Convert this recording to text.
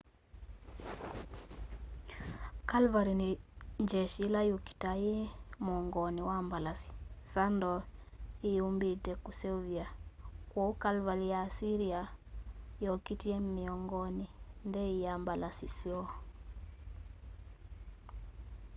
cavalry ni yeshi ila yukitaa yi muongoni wa mbalasi saddle iyambite kuseuvwa kwoou cavalry ya assyria yokitie miongoni nthei ya mbalasi kyoo